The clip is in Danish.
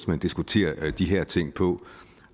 man diskuterer de her ting på